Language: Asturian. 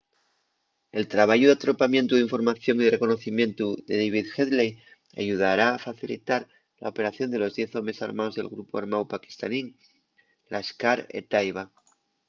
el trabayu d’atropamientu d’información y de reconocimientu de david headley ayudara a facilitar la operación de los diez homes armaos del grupu armáu paquistanín laskhar-e-taiba